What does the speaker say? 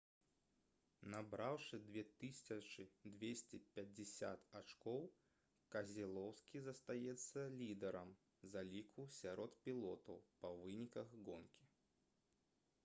набраўшы 2250 ачкоў кезелоўскі застаецца лідарам заліку сярод пілотаў па выніках гонкі